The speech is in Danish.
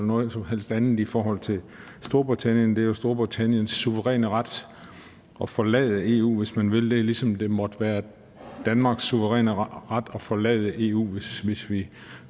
noget som helst andet i forhold til storbritannien det er jo storbritanniens suveræne ret at forlade eu hvis man vil det ligesom det måtte være danmarks suveræne ret at forlade eu hvis vi